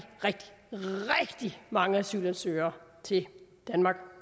rigtig mange asylansøgere til danmark